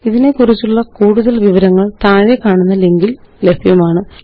ഇതിനെക്കുറിച്ചുള്ള കൂടുതല് വിവരങ്ങള് താഴെക്കാണുന്ന ലിങ്കില് ലഭ്യമാണ് httpspoken tutorialorgNMEICT Intro